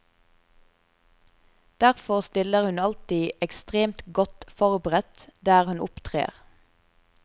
Derfor stiller hun alltid ekstremt godt forberedt der hun opptrer.